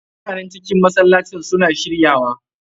Mutanen cikin masallacin su na shirya wa.